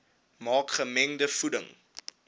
maak gemengde voeding